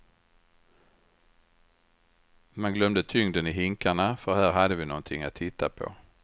Man glömde tyngden i hinkarna för här hade vi någonting att titta på.